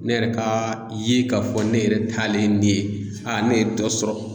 Ne yɛrɛ ka ye k'a fɔ ne yɛrɛ talen ne ye a ne ye dɔ sɔrɔ.